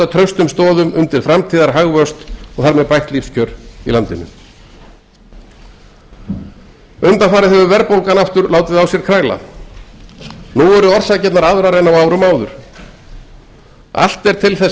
traustum stoðum undir framtíðarhagvöxt og þar með bætt lífskjör í landinu undanfarið hefur verðbólgan aftur látið á sér kræla nú eru orsakirnar aðrar en á árum áður allt er til þess